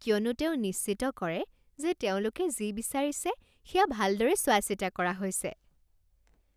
কিয়নো তেওঁ নিশ্চিত কৰে যে তেওঁলোকে যি বিচাৰিছে সেয়া ভালদৰে চোৱা চিতা কৰা হৈছে।